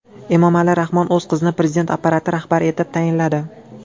Emomali Rahmon o‘z qizini prezident apparati rahbari etib tayinladi.